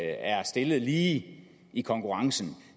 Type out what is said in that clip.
er stillet lige i i konkurrencen